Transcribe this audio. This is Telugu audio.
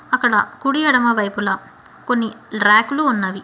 అక్కడ కుడి ఎడమవైపుల కొన్ని రాక్ లు ఉన్నవి.